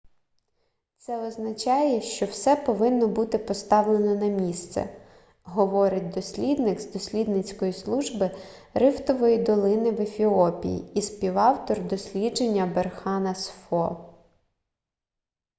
це означає що все повинно бути поставлено на місце - говорить дослідник з дослідницької служби рифтової долини в ефіопії і співавтор дослідження берхан асфо